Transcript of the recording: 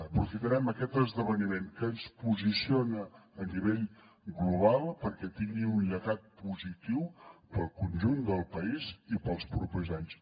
aprofitarem aquest esdeveniment que ens posiciona a nivell global perquè tingui un llegat positiu per al conjunt del país i per als propers anys